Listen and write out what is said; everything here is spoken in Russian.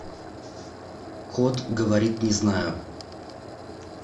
кот говорит не знаю